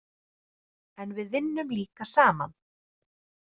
En við vinnum líka saman.